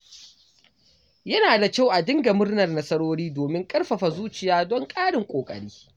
Yana da kyau a dinga murnar nasarori domin ƙarfafa zuciya don ƙarin ƙoƙari.